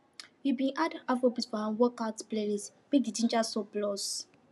we bin add afrobeat for our workout playlist make the ginger surplus